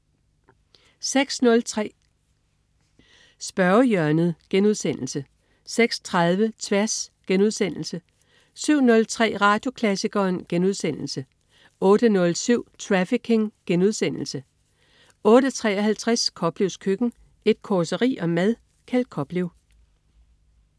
06.03 Spørgehjørnet* 06.30 Tværs* 07.03 Radioklassikeren* 08.07 Trafficking* 08.53 Koplevs køkken. Et causeri om mad. Kjeld Koplev